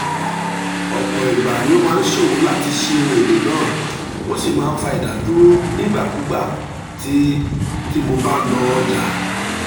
ọ̀pọ̀ ìgbà ni ó máa ṣòro láti ṣí ohun èlò náà ó sì máa fa ìdádúró nígbàkigbà tí mo bá lọ ọjà.